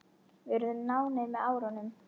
Við urðum nánir með árunum.